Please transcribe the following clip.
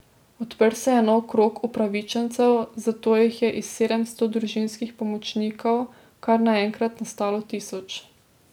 Odprl se je nov krog upravičencev, zato jih je iz sedemsto družinskih pomočnikov kar naenkrat nastalo tisoč.